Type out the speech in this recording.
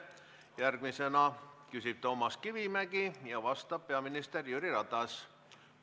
Järgmisena küsib Toomas Kivimägi ja vastab peaminister Jüri Ratas.